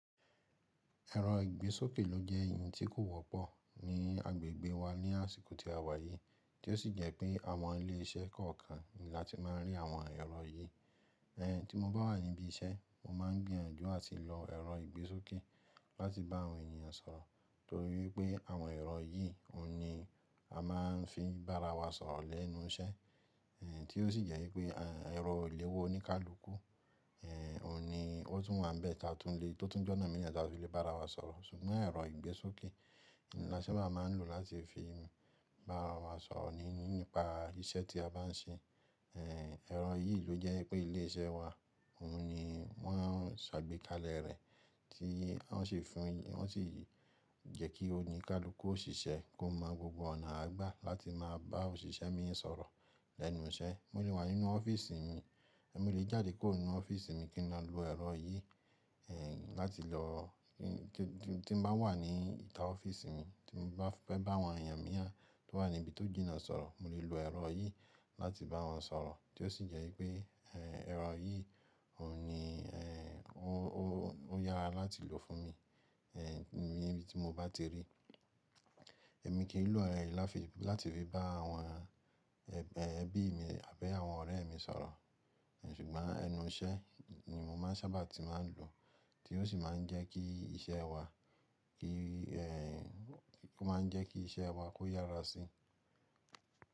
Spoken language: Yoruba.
Ẹ̀rọ ìgbésókè ló jẹ́ ohun tí kò wọ́pọ̀ ní agbègbè wa ní àsìkò tí a wà yìí, tí ó sì jẹ́ pé àwọn ilé iṣẹ́ kọ̀ọ̀kan ni a ti máa ń rí àwọn ẹ̀rọ yìí. Ẹ̀ tí mo bá wà níbí iṣẹ́, mo máa ń gbìyànjú àti lo ẹ̀rọ ìgbésókè láti bá àwọn ènìyàn sọ̀rọ̀ torí wípé àwọn ẹ̀rọ yìí oun ni a máa ń fi bá ara wa sọ̀rọ̀ lẹ́nu iṣẹ́, èyí tí ó sì jẹ́ wípé ẹ̀rọ ìléwọ́ oníkálukú, òun ni ó tún wà níbẹ̀ táa tún le, tó tún jẹ́ ọ̀nà míì tá a tún le bá ara wa sọ̀rọ̀. Ṣùgbọ́n ẹ̀rọ ìgbésókè ni a sábà máa ń lò láti fi bá ara wa sọ̀rọ̀ níní nípa iṣẹ́ tí a bá ń ṣe. Ẹ̀rọ yìí ló jẹ́ pé ilé iṣẹ́ wa, òun ni wọ́n sàgbékalẹ̀ rẹ̀ tí wọ́n sì fún, wọ́n sì jẹ́ kí oníkálukú òṣìṣẹ́ kó mọ gbogbo ọ̀nà àá gbà láti máa bá òṣìṣẹ́ míì sọ̀rọ̀ lẹ́nu iṣẹ́. Mo lè wà nínú ọ́fíísì mi, èmi lè jáde kúrò nínú ọ́fíísì mi kí n lọ lo ẹ̀rọ yìí, eh láti lọ tí, tí n bá wà ní ìta ọ́fíísì mi, tí mo bá fẹ́ bá àwọn èèyàn mìíràn tó wà níbi tó jìnnà sọ̀rọ̀, mo lè lo ẹ̀rọ yìí láti bá wọn sọ̀rọ̀, tí ó sì jẹ́ wípé ẹ̀rọ yìí òun ni ó, ó yára láti lò fún mi. Níbi tí mo bá ti rí, èmi kì í lò ẹ̀rọ yìí láti fi, láti fi bá àwọn ẹbí mi àbí àwọn ọ̀rẹ́ mi sọ̀rọ̀, ṣùgbọ́n ẹnu iṣẹ́ ni mo máa ń sábà tí máa ń lò, tí ó sì máa ń jẹ́ kí iṣẹ́ wa kí, ó máa ń jẹ́ kí iṣẹ́ wa kó yára sí i.